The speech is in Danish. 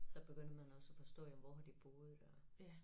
Så begynder man også at forstå jamen hvor har de boet og